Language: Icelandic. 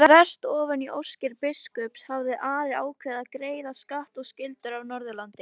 Þvert ofan í óskir biskups hafði Ari ákveðið að greiða skatt og skyldur af Norðurlandi.